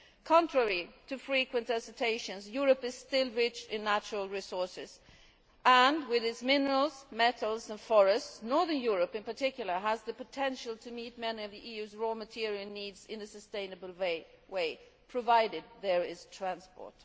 Contrary to frequent assertions, Europe is still rich in natural resources and, with its minerals, metals and forests, Northern Europe in particular has the potential to meet many of the EU's raw material needs in a sustainable way, provided there is transport.